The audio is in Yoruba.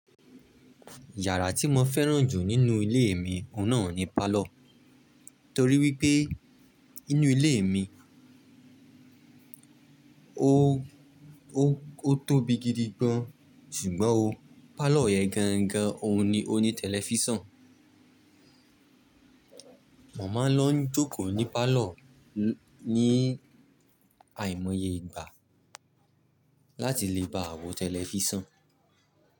Yàrá tí mo fẹ́ràn jù nínú ilé mi òhun náà ni parlour torí wípé inú ilé mi ó tóbi gidi gan, ṣùgbọ́n o parlour yen gan gan òhun ni ó ní tẹlifísàn. Mo máa ń lọ ń jókòó ní parlour ní àìmoye ìgbà láti lè baà wọ̀ tẹlifísàn.